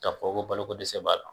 Ka fɔ ko balo ko dɛsɛ b'a la